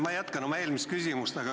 Ma jätkan oma eelmist küsimust.